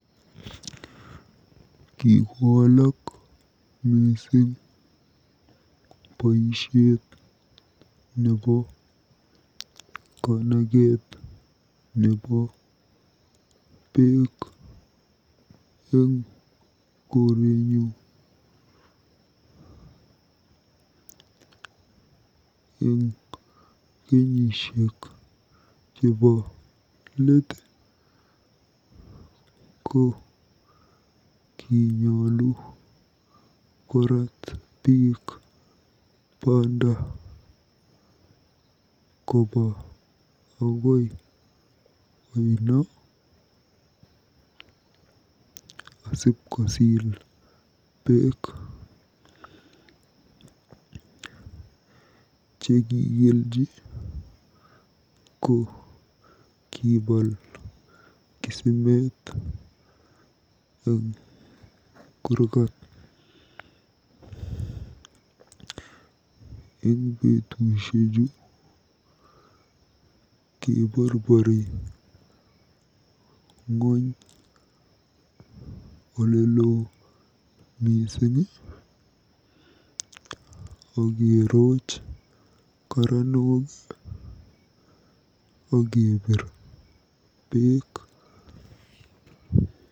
Kikowalak mising boisiet nebo kanaket nebo beek eng korenyu. Eng kenyisiek chebo leet ko kinyolu korat biik banda koba akoi oino asipkosiil beek. Chekikelji ko kibaal kisimet eng kurkat. Eng betusiechu keborbori ng'ony olelo akerooch karanok akebiir beek.